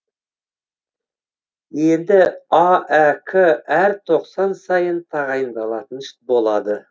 енді аәк әр тоқсан сайын тағайындалатын болады